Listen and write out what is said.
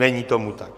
Není tomu tak.